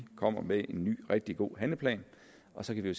kommer med en ny rigtig god handleplan og så kan vi